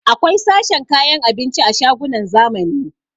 Akwai sashen kayan abinci a shagunan zamani